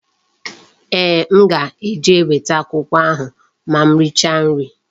Ee, m ga-eje weta akwụkwọ ahụ ma m richa nri